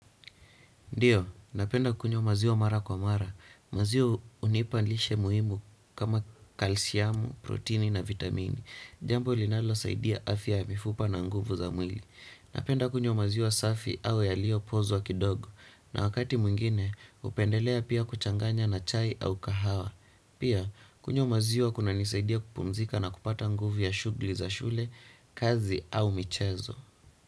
Ndiyo, napenda kunywa maziwa mara kwa mara. Maziwa hunipa lishe muhimu kama kalsiamu, protini na vitamini. Jambo linalo saidia afya ya mifupa na nguvu za mwili. Napenda kunywa maziwa safi au yaliyo pozwa kidogo. Na wakati mwingine, hupendelea pia kuchanganya na chai au kahawa. Pia, kunywa maziwa kunanisaidia kupumzika na kupata nguvu ya shughuli za shule, kazi au michezo.